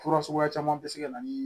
Fura suguya caman bɛ se ka na ni